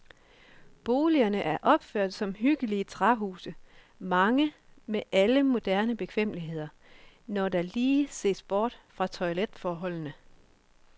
Boligerne er opført som hyggelige træhuse, mange med alle moderne bekvemmeligheder, når der lige ses bort fra toiletforholdene.